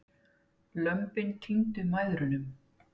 Lömbin týndu mæðrunum.